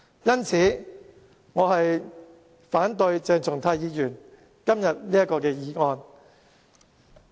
因此，我反對鄭松泰議員今天這項議案。